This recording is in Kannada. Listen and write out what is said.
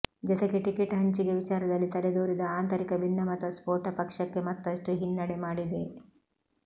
ಜತೆಗೆ ಟಿಕೆಟ್ ಹಂಚಿಕೆ ವಿಚಾರದಲ್ಲಿ ತಲೆದೋರಿದ ಆಂತರಿಕ ಭಿನ್ನಮತ ಸ್ಫೋಟ ಪಕ್ಷಕ್ಕೆ ಮತ್ತಷ್ಟು ಹಿನ್ನಡೆ ಮಾಡಿದೆ